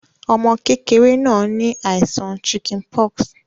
Ọmọ kẹ̀kẹrẹ̀ náà ni àìsàn chickenpox